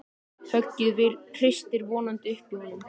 Höggið hristir vonandi upp í honum.